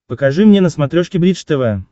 покажи мне на смотрешке бридж тв